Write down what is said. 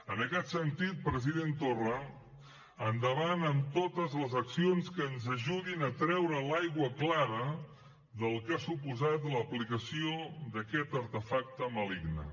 en aquest sentit president torra endavant amb totes les accions que ens ajudin a treure l’aigua clara del que ha suposat l’aplicació d’aquest artefacte maligne